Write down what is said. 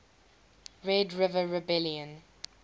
red river rebellion